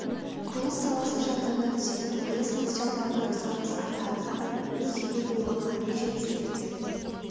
құрылыс саласы жандана түседі құрылыс материалдарына сұраныс артады адамның өз үйі болғанға не жетсін ертең